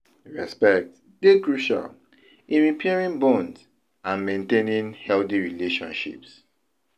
respect dey crucial in repairing bonds and maintaining healthy relationships.